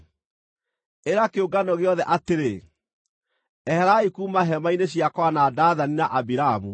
“Ĩra kĩũngano gĩothe atĩrĩ, ‘Eherai kuuma hema-inĩ cia Kora na Dathani na Abiramu.’ ”